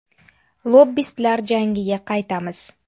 Lobbistlar jangiga qaytamiz.